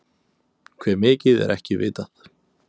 Hve mikið er ekki vitað.